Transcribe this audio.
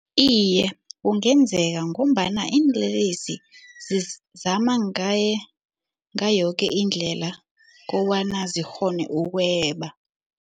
Iye, kungenzeka ngombana iinlelesi zizama ngayoke indlela kobana zikghone ukweba.